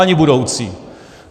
Ani budoucí.